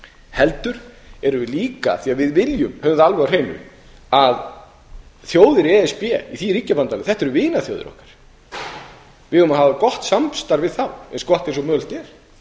heldur erum við líka af því að við höfum það alveg á hreinu að þjóðir í e s b í því ríkjabandalagi eru vinaþjóðir okkar við eigum að hafa gott samstarf við þá eins gott og mögulegt er